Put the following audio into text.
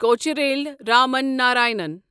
Kocheril Raman Narayanan